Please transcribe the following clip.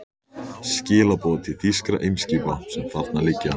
Skilaboð til þýskra eimskipa, sem þarna liggja.